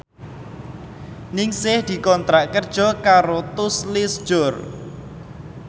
Ningsih dikontrak kerja karo Tous Les Jour